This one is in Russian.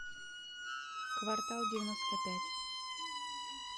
квартал девяносто пять